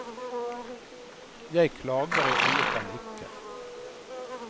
Jeg klager i alle fall ikke.